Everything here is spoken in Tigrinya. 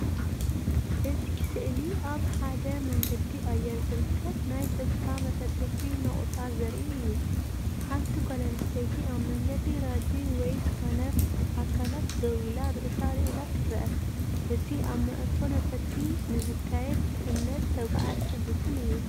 እቲ ስእሊ ኣብ ሓደ መንገዲ ኣየር ዝርከብ ናይ ጸጥታ መፈተሺ ነቑጣ ዘርኢ እዩ። ሓንቲ ጓል ኣንስተይቲ ኣብ መንገዲ ራጂ ወይ ስካነር ኣካላት ደው ኢላ ርእሳ ኣልዒላ ትረአ። እቲ ኣብ መዓርፎ ነፈርቲ ንዝካየድድሕነት ተጓዓዝቲ ዝውክል እዩ።